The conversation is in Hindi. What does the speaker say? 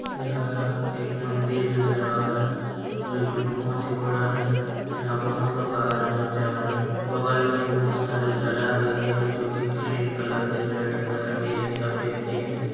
यहाँ एक मंदिर नजर आ रहा है जोकि बहुत ही बड़ा है यहाँ बहुत लोग आ रहें हैं जा रहें हैं बगल में हीं बहुत सारे झालर लगे हैं जोकि ग्रीन कलर के रेड कलर के हैं सफेद के हैं।